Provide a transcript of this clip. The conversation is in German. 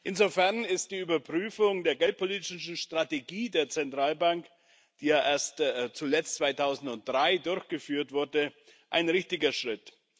Insofern ist die Überprüfung der geldpolitischen Strategie der Zentralbank, die ja zuletzt 2003 durchgeführt wurde, ein richtiger Schritt.